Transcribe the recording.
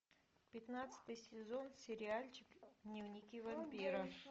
пятнадцатый сезон сериальчик дневники вампира